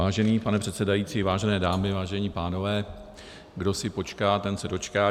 Vážený pane předsedající, vážené dámy, vážení pánové, kdo si počká, ten se dočká.